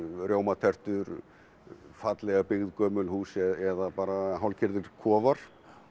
rjómatertur fallega byggð gömul hús eða bara hálfgerðir kofar